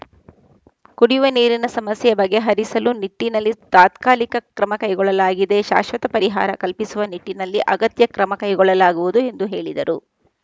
ಕುಡಿಯುವ ನೀರಿನ ಸಮಸ್ಯೆ ಬಗೆಹರಿಸಲು ನಿಟ್ಟಿನಲ್ಲಿ ತಾತ್ಕಾಲಿಕ ಕ್ರಮ ಕೈಗೊಳ್ಳಲಾಗಿದೆ ಶಾಶ್ವತ ಪರಿಹಾರ ಕಲ್ಪಿಸುವ ನಿಟ್ಟಿನಲ್ಲಿ ಅಗತ್ಯ ಕ್ರಮ ಕೈಗೊಳ್ಳಲಾಗುವುದು ಎಂದು ಹೇಳಿದರು